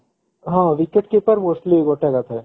ହଁ wicket keeper mostly ଗୋଟେ ଆକା ଥାଏ